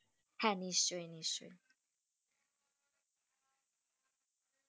হেঁ, নিশ্চই নিশ্চই,